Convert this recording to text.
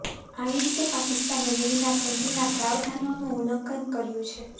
આવી રીતે પાકિસ્તાને વિયના સંધિના પ્રાવધાનોનું ઉલ્લંઘન કર્યું છે